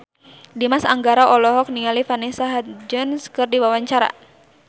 Dimas Anggara olohok ningali Vanessa Hudgens keur diwawancara